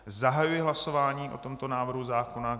Zahajuji hlasování o tomto návrhu zákona.